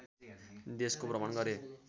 देशको भ्रमण गरे